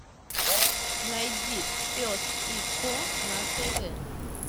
найди пес и ко на тв